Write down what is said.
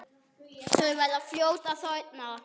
Þau verða fljót að þorna.